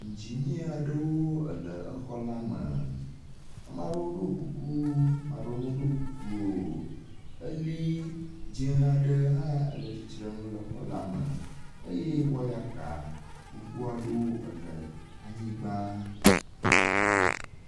Iŋdzinia aɖewo le exɔ la me. Ame aɖewo ɖo kuku, ame aɖewo meɖo kuku o. Eli dzẽ aɖe hã le tsitre ŋu le exɔ la me eye wɔyaka gbogbo aɖewo ele anyigba.